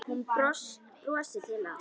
Hún brosir til hans.